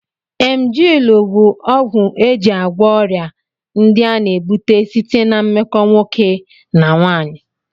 Emjịlụ bụ ọgwụ e ji agwọ ọrịa ndị a na-ebute site ná mmekọ nwoke na nwaanyị